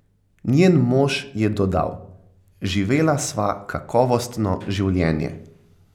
Njen mož je dodal: "Živela sva kakovostno življenje.